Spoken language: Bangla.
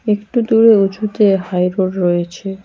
একটু দূরে উঁচুতে হাইরোড রয়েছে।